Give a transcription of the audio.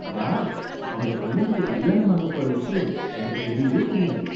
Wow! உங்க பையனுக்கு கல்யாணம் ஆகப்போற விஷயம் எனக்கு தெரியவே தெரியாது!